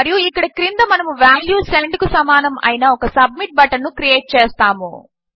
మరియు ఇక్కడ క్రింద మనము వాల్యూ సెండ్ కు సమానము అయిన ఒక సబ్మిట్ బటన్ ను క్రియేట్ చేస్తాము